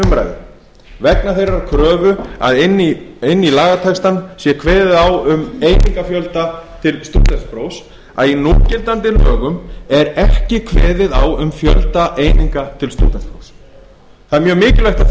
umræðu vegna þeirrar kröfu að inn í lagatextann sé kveðið á um einingafjölda til stúdentsprófs að í núgildandi lögum er ekki kveðið á um fjölda eininga til stúdentsprófs það er mjög mikilvægt að